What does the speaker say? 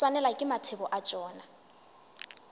swanelwa ke mathebo a tšona